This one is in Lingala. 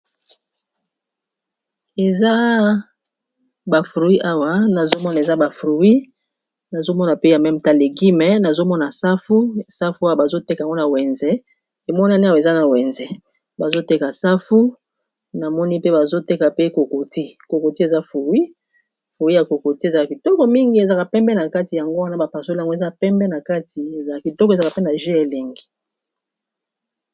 Eza bafrui awa nazomona eza ba frui nazomona pe ya mem talegi me nazomona safu, safu aya bazoteka nwana wenze emonani awa eza na wenze bazoteka safu namoni pe bazoteka pe kokoti kokoti eza frui froui ya kokoti ezaa kitoko mingi ezaka pembe na kati yango wana bapasole yango eza pembe na kati eza kitoko ezaka pe na j elengi